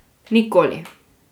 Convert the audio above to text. Nikoli.